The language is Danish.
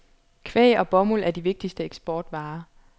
Kvæg og bomuld er de vigtigste eksportvarer.